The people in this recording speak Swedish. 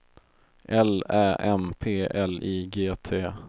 L Ä M P L I G T